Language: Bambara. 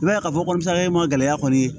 I b'a ye k'a fɔ ko sajɛ ma gɛlɛya kɔni